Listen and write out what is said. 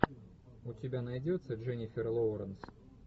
у тебя найдется дженнифер лоуренс